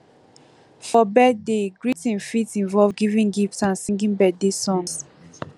for birthday greeting fit involve giving gifts and singing birthday songs